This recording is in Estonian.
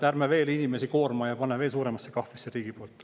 Ärme koorma inimesi veel ja pane neid veel suuremasse kahvlisse riigi poolt.